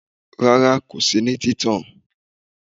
Rara ko si ni títàn